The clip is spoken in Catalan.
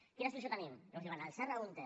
quina solució tenim llavors diuen el serra húnter